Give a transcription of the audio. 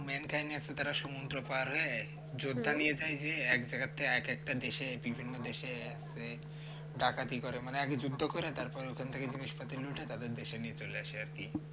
main কাহিনী হচ্ছে তারা সমুদ্র পার হয়ে যোদ্ধা নিয়ে যায় যে এক জায়গাতে এক একটা দেশে বিভিন্ন দেশে ডাকাতি করে মানে যুদ্ধ করে তারপরে ওখান থেকে জিনিসপাতি লুটে তারপর দেশে নিয়ে চলে আসে আর কি